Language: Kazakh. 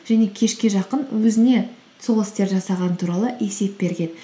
және кешке жақын өзіне сол істерді жасағаны туралы есеп берген